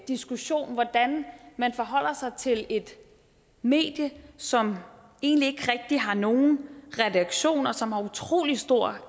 diskussion hvordan man forholder sig til et medie som egentlig ikke rigtig har nogen redaktion og som har utrolig stor